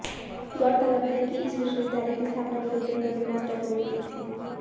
गौरतलब है कि इस विश्वविद्यालय की स्थापना गुरुदेव रवीन्द्रनाथ टैगोर ने की थी